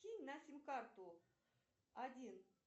кинь на сим карту один